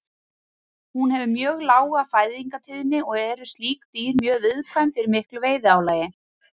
Hún hefur mjög lága fæðingatíðni og eru slík dýr mjög viðkvæm fyrir miklu veiðiálagi.